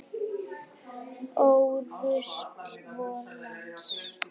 Ó rusl vors lands.